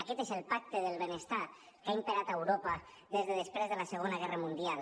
aquest és el pacte del benestar que ha imperat a europa des de després de la segona guerra mundial